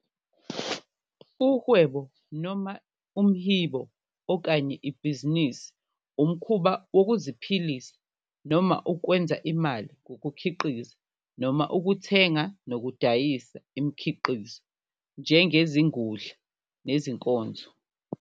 Umhwebo, noma umhibo okanye Ibhizinisi, umkhuba wokuziphilisa noma ukwenza imali ngokukhiqiza noma ukuthenga nokudayisa imikhiqizo, njengezingudla nezinkonzo.